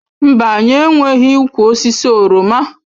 Mba, anyị enweghị ụkwụ osisi oroma.